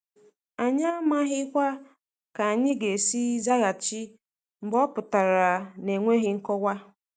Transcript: Anyị amaghikwa ka anyị ga-esi zaghachi mgbe ọ pụtara na-enweghị nkọwa.